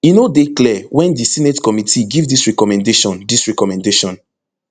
e no dey clear wen di senate committee give dis recommendation dis recommendation